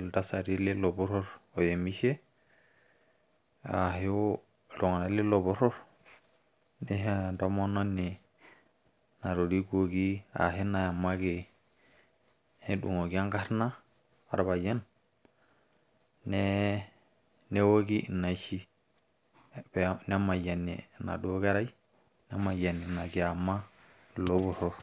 iltasati leilo porror oyemishi ashu iltung`anak leilo porror neisho entomononi natorikuoki ashu nayamaki nedung`oki enkarna orpayian neoki inaishi nemayiami enaduo kerai nemayiani ina kiama ilo porror.